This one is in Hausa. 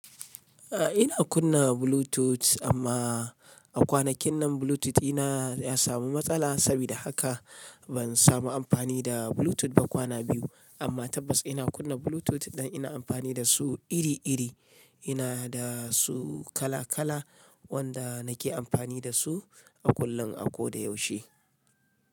A ina kunna Bluetooth amma a kwanakin nan Bluetooth ina ya samu matsala saboda haka ban samu amfani da Bluetooth ba kwana biyu amma tabbas ina kunna Bluetooth dan ina amfani da su iri iri ina da su kala kala wanda nake amfani da su a kullun a kodayaushe.